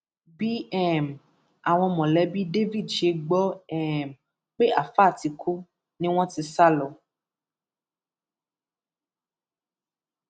bí um àwọn mọlẹbí david ṣe gbọ um pé àáfàá ti kú ni wọn ti sá lọ